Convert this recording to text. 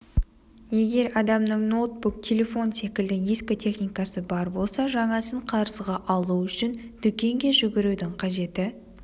егер адамның ноутбук телефон секілді ескі техникасы бар болса жаңасын қарызға алу үшін дүкенге жүгірудің қажеті